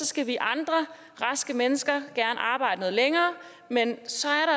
skal vi andre raske mennesker gerne arbejde noget længere men så er